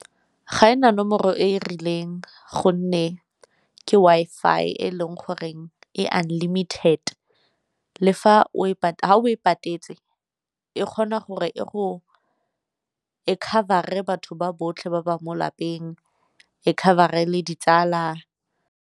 Ga ena nomoro e e rileng gonne ke Wi-Fi e leng goreng e unlimited le fa o e patetse e kgona gore e cover-e batho ba botlhe ba ba mo lapeng, e cover-e le ditsala.